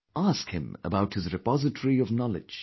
Ask him about his repository of knowledge